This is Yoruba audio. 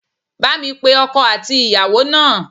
Bá mi pe ọkọ àti ìyàwó náà